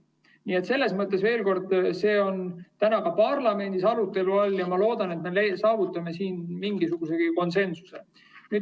Nii et veel kord: see on ka parlamendis arutelu all ja ma loodan, et me saavutame siin mingisugusegi konsensuse.